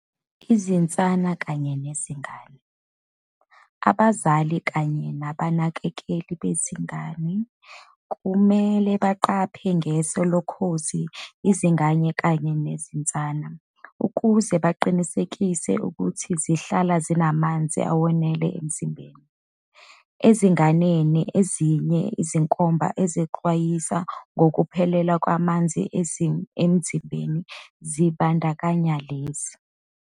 Izinsana kanye nezingane. Abazali kanye nabanakekeli bezingane kumele baqaphe ngeso lokhozi izingane kanye nezinsana, ukuze baqinisekise ukuthi zihlala zinamanzi awenele emzimbeni. Ezinganeni, ezinye izinkomba ezixwayisa ngokuphelelwa ngamanzi emzimbeni zibandakanya lezi.